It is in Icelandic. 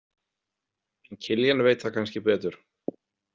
En Kiljan veit það kannski betur.